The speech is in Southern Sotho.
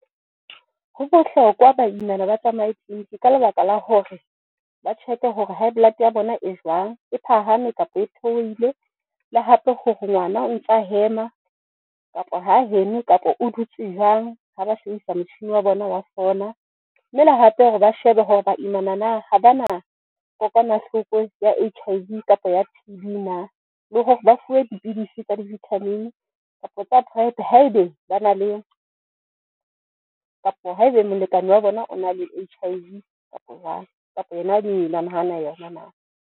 Ho bohlokwa baimana ba tsamaye clinic ka lebaka la hore, ba check-e hore high blood ya bona e jwang e phahame kapa e theohile. Le hape hore ngwana o ntsa hema kapa ha heme kapa o dutse jwang. Ha ba shebisa motjhini wa bona wa sonar. Mme le hape hore ba shebe hore baimana na ha ba na kokwanahloko ya H_I_V kapa ya T_B na le hore hore ba fuwe dipidisi tsa di-vitamin kapa tsa PrEP-e. Haebe bana le kapa haebe molekane wa bona o na le H_I_V kapa jwang kapa hana yona na?